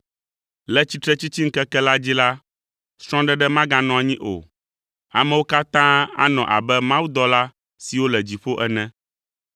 Le tsitretsitsiŋkeke la dzi la, srɔ̃ɖeɖe maganɔ anyi o; amewo katã anɔ abe mawudɔla siwo le dziƒo ene.